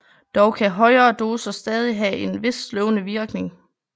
Dog kan højere doser stadig have en vis sløvende virkning